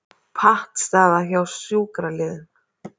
Pattstaða hjá sjúkraliðum